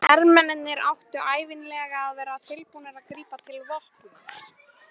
Hermennirnir áttu ævinlega að vera tilbúnir að grípa til vopna.